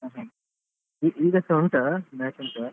ಹಾ ಈಗಸ ಉಂಟಾ match ಉಂಟಾ .